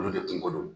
Olu de kungolo